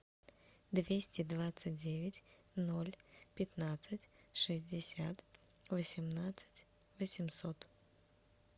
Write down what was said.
двести двадцать девять ноль пятнадцать шестьдесят восемнадцать восемьсот